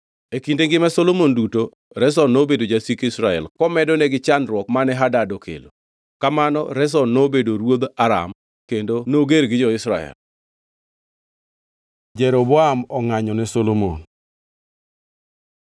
E kinde ngima Solomon duto Rezon nobedo jasik Israel, komedore gi chandruok mane Hadad okelo. Kamano Rezon nobedo ruodh Aram kendo noger gi jo-Israel. Jeroboam ongʼanyo ne Solomon